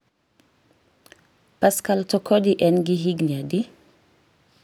Pascal Tokodi en gi higni adi?